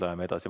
Läheme edasi.